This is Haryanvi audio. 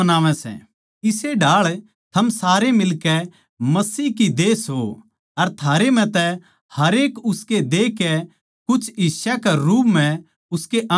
इस्से ढाळ थम सारे मिलकै मसीह की देह सो अर थारे म्ह तै हरेक उसके देह के कुछ हिस्सां के रूप म्ह उसके अंग सों